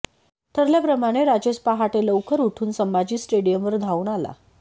ठरल्याप्रमाणे राजेश पहाटे लवकर उठून संभाजी स्टेडियमवर धावून आला